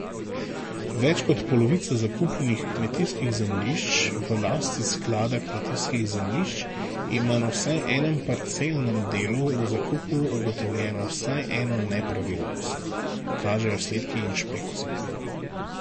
Več kot polovica zakupnih kmetijskih zemljišč v lasti sklada kmetijskih zemljišč ima na vsaj enem parcelnem delu v zakupu ugotovljeno vsaj eno nepravilnost, kažejo izsledki inšpekcije.